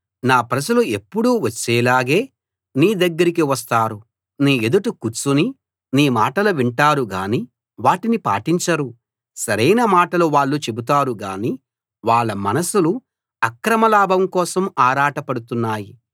నా ప్రజలు ఎప్పుడూ వచ్చేలాగే నీ దగ్గరికి వస్తారు నీ ఎదుట కూర్చుని నీ మాటలు వింటారు గాని వాటిని పాటించరు సరైన మాటలు వాళ్ళు చెబుతారు గానీ వాళ్ళ మనసులు అక్రమ లాభం కోసం ఆరాటపడుతున్నాయి